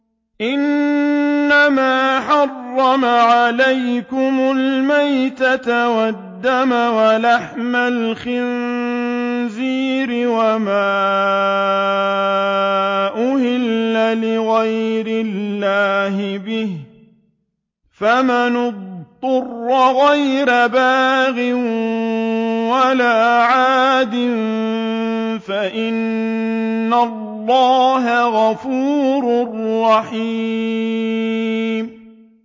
إِنَّمَا حَرَّمَ عَلَيْكُمُ الْمَيْتَةَ وَالدَّمَ وَلَحْمَ الْخِنزِيرِ وَمَا أُهِلَّ لِغَيْرِ اللَّهِ بِهِ ۖ فَمَنِ اضْطُرَّ غَيْرَ بَاغٍ وَلَا عَادٍ فَإِنَّ اللَّهَ غَفُورٌ رَّحِيمٌ